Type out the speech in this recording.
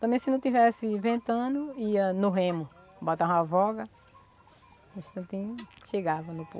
Também se não tivesse ventando, ia no remo, botava uma voga, um instantinho, chegava no